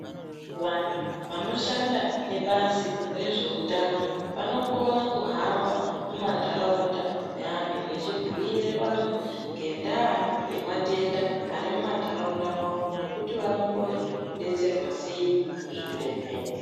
Vantu vanoshanda nebazi rezveutano vanokona kuhamba mumandaraunda meantu vechibhuire vantu ngendaa yematenda arimumandaraunda mwavo nokuti vanokone kudetserwa sei kuzvibhedhleya.